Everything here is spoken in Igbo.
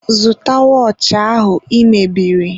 Zụta wọọchị ahụ I mebiri!